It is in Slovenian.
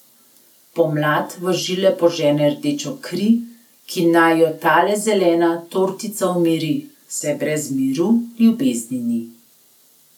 Pomlad v žile požene rdečo kri, ki naj jo tale zelena tortica umiri, saj brez miru ljubezni ni.